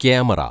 camera